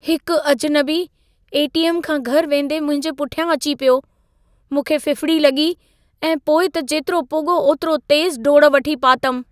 हिक अजनबी ए.टी.एम. खां घरि वेंदे मुंहिंजे पुठियां अची पियो। मूंखे फ़िफ़िड़ी लॻी ऐं पोइ त जेतिरो पुॻो ओतिरो तेज़ डोड़ वठी पातमि।